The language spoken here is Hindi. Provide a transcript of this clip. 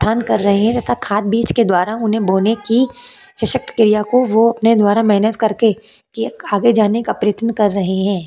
ध्यान कर रहै है तथा खाद बीज के द्वारा होने की सशक्त क्रिया को वो अपने द्वारा मेहनत करके आगे जाने का प्रयत्न कर रहै हैं।